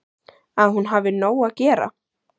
Að hún hafi nóg að gera.